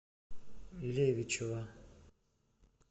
левичева